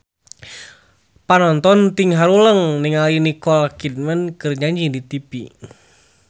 Panonton ting haruleng ningali Nicole Kidman keur nyanyi di tipi